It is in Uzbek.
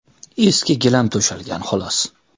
Eski gilam to‘shalgan, xolos.